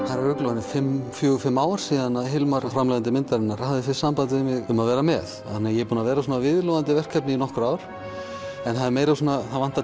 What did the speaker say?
það eru örugglega fjögur fimm ár sem Hilmar framleiðandi myndarinnar hafði fyrst samband við mig um að vera með þannig að ég er búinn að vera viðloðandi verkefnið í nokkur ár en það er meira það vantar